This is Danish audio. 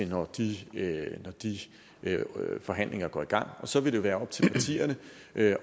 når de forhandlinger går i gang så vil det være op til partierne